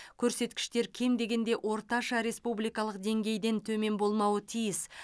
көрсеткіштер кем дегенде орташа республикалық деңгейден төмен болмауы тиіс